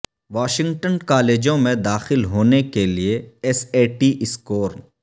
Washington کالجوں میں داخل ہونے کے لئے ایس اے ٹی سکور